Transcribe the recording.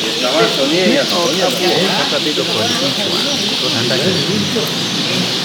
"Ne ok obuok kata bedo kod ich wang',"Underhill omedo.